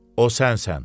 O sənsən.